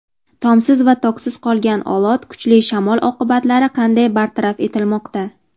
Tomsiz va toksiz qolgan Olot: kuchli shamol oqibatlari qanday bartaraf etilmoqda?.